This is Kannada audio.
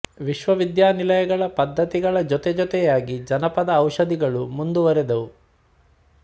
ವಿಶ್ವ ವಿದ್ಯಾನಿಲಯಗಳ ಪದ್ಧತಿಗಳ ಜೊತೆ ಜೊತೆಯಾಗಿ ಜಾನಪದ ಔಷಧಗಳು ಮುಂದುವರೆದವು